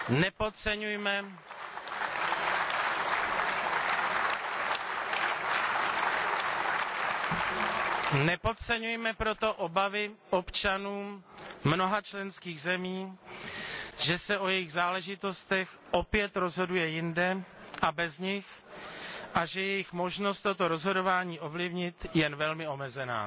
Nepodceňujme proto obavy občanů mnoha členských zemí, že se o jejich záležitostech opět rozhoduje jinde a bez nich a že je jejich možnost toto rozhodování ovlivnit jen velmi omezená.